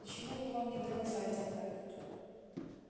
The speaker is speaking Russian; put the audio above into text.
почему бы вам не доказать это